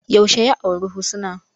Yaushe ya auri Husna?